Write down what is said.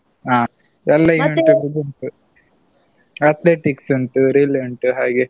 ಹಾ. ಎಲ್ಲ ಉಂಟು. Athletics ಉಂಟು Relay ಉಂಟು ಹಾಗೆ.